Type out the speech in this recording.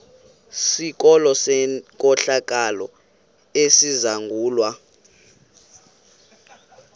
sikolo senkohlakalo esizangulwa